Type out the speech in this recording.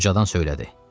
O ucadan söylədi: